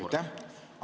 Aitäh!